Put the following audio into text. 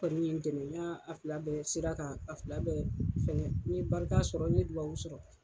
Kɔni ye n dɛmɛ n'a fila bɛ sira kan, a fila bɛɛ fɛgɛ, n ye barika sɔrɔ, n ye duwɔwu sɔrɔ